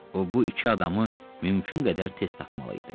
O bu iki adamı mümkün qədər tez tapmalı idi.